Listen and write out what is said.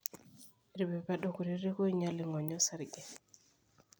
irpepedo kutitik oinyal ing'onyo osarge